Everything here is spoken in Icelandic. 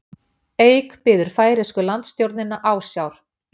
Eik biður færeysku landstjórnina ásjár